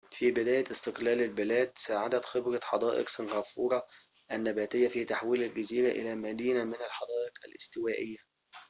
في بداية استقلال البلاد ساعدت خبرة حدائق سنغافورة النباتية في تحويل الجزيرة إلى مدينة من الحدائق الاستوائية